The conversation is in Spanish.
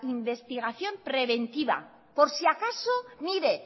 investigación preventiva por si acaso mire